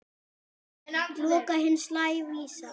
Loka hins lævísa.